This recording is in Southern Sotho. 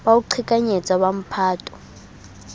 ba ho qhekanyetsa wa mphato